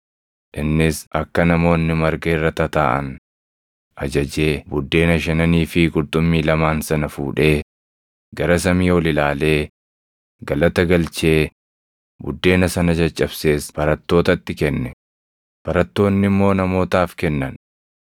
Innis akka namoonni marga irra tataaʼan ajajee buddeena shananii fi qurxummii lamaan sana fuudhee, gara samii ol ilaalee galata galchee buddeena sana caccabsees barattootatti kenne; barattoonni immoo namootaaf kennan.